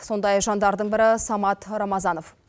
сондай жандардың бірі самат рамазанов